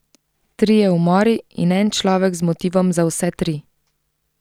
Trije umori in en človek z motivom za vse tri.